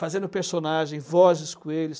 Fazendo personagem, vozes com eles.